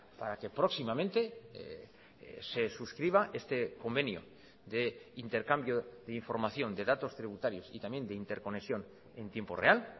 para que próximamente se suscriba este convenio de intercambio de información de datos tributarios y también de interconexión en tiempo real